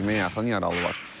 20-yə yaxın yaralı var.